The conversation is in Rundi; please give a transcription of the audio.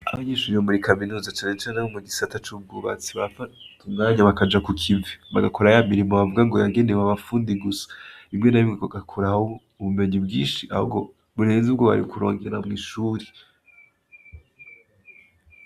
Abanyeshure bo muri kaminuza cane cane bo mugisata cubwubatsi barafata umwanya bakaja kukivi bagakora yamirimo gombwa yagenewe abafundi gusa rimwe na rimwe bagakurayo ubumenyi bwinshi ahubwo burenze ubwo bari kurondera mwishure